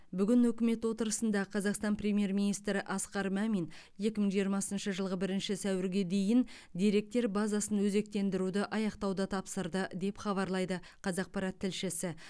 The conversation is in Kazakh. бүгін үкімет отырысында қазақстан премьер министрі асқар мамин екі мың жиырмасыншы жылғы бірінші сәуірге дейін деректер базасын өзектендіруді аяқтауды тапсырды деп хабарлайды қазақпарат тілшісі